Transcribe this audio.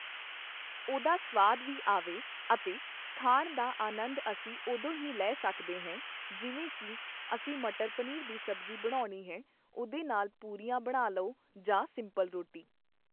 ਉਹਦਾ ਸਵਾਦ ਵੀ ਆਵੇ ਅਤੇ ਖਾਣ ਦਾ ਆਨੰਦ ਅਸੀਂ ਉਦੋਂ ਹੀ ਲੈ ਸਕਦੇ ਹੈ ਜਿਵੇਂ ਕੀ ਅਸੀਂ ਮਟਰ ਪਨੀਰ ਦੀ ਸਬਜ਼ੀ ਬਣਾਉਣੀ ਹੈ ਉਹਦੇ ਨਾਲ ਪੂਰੀਆਂ ਬਣਾ ਲਓ ਜਾਂ ਸਿੰਪਲ ਰੋਟੀ